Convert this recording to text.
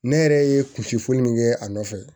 Ne yɛrɛ ye kunsi foli min kɛ a nɔfɛ